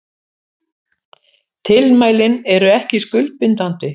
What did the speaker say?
Tilmælin eru ekki skuldbindandi